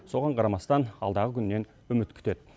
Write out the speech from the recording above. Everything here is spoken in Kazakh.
соған қарамастан алдағы күннен үміт күтеді